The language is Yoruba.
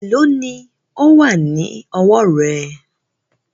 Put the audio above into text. Èló ni ó wà lọ́wọ́ rẹ?